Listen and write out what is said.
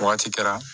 Wagati kɛra